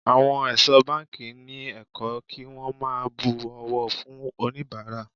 Àwọn ẹ̀ṣọ́ báńkì ni ẹ̀kọ́ kí wón máa bu ọ̀wọ̀ fún oníbàárà.